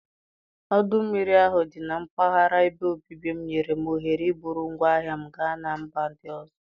Ọdụ mmiri ahụ dị na mpaghara ebe obibi m nyere m ohere iburu ngwaahịa m gaa na mba ndị ọzọ.